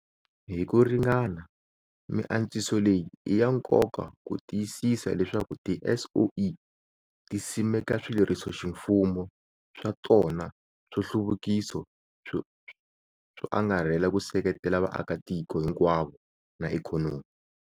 Hi ku ringana, miantswiso leyi i ya nkoka ku tiyisisa leswaku tiSOE ti simeka swilerisoximfumo swa tona swo hluvukisa swo angarhela ku seketela vaakatiko hi nkwavo na ikhonomi.